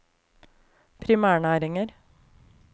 primærnæringer